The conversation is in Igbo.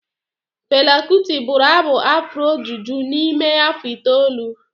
Fela kuti bụrụ abụ afro juju n'ime afọ itoolu.